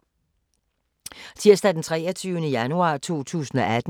Tirsdag d. 23. januar 2018